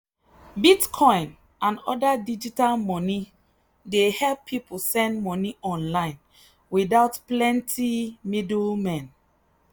bitcoin and other digital money dey help people send money online without plenty middlemen.